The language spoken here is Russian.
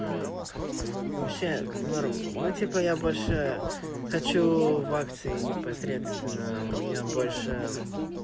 вообще ну типа я больше хочу в акции непосредственно у меня больше